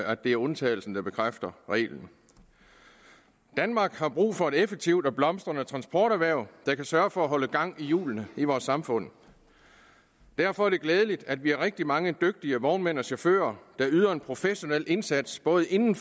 at det er undtagelsen der bekræfter reglen danmark har brug for et effektivt og blomstrende transporterhverv der kan sørge for at holde gang i hjulene i vores samfund derfor er det glædeligt at vi har rigtig mange dygtige vognmænd og chauffører der yder en professionel indsats både inden